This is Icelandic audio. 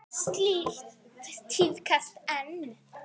Slíkt tíðkast enn.